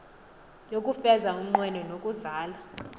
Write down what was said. yokufeza umnqweno nokuzala